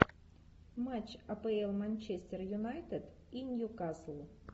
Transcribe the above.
матч апл манчестер юнайтед и ньюкасл